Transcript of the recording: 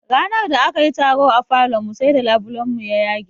Ranar da akayi taro a falon mu sai da labulen mu ya yage